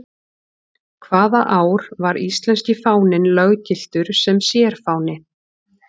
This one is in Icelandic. Hvaða ár var íslenski fáninn löggiltur sem sérfáni?